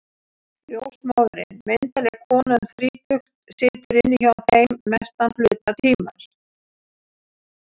Ljósmóðirin, myndarleg kona um þrítugt, situr inni hjá þeim mestan hluta tímans.